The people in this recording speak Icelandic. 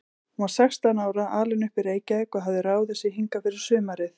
Hún var sextán ára, alin upp í Reykjavík og hafði ráðið sig hingað fyrir sumarið.